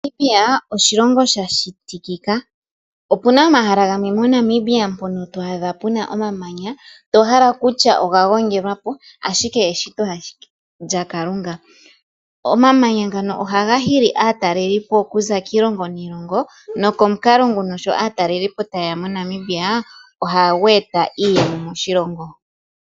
Namibia oshilongo shashitikika, opuna omahala gamwe moNamibia mpono twaadha puna omamanya tohala kutya oga gongelwa po ashike eshito ashike lyakalunga, omamanya ngano ohaga hili aatalelipo okuza kiilongo niilongo nokomukalo nguno sho aatalelipo tayeya moNamibia oha yeeta iiyemo moshilongo.